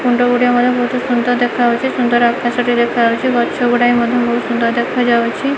କୁଣ୍ଡ ଗୁଡ଼ିଏ ମଧ୍ୟ ବୋହୁତୁ ସୁନ୍ଦର ଦେଖାଯାଉଚି ସୁନ୍ଦର ଆକାଶ ଟିଏ ଦେଖାଯାଉଚି ଗଛ ଗୁଡ଼ାଏ ମଧ୍ୟ ବୋହୁତ ସୁନ୍ଦର ଦେଖାଯାଉଛି।